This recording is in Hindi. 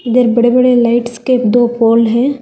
इधर बड़े बड़े लाइट्स के दो पोल है।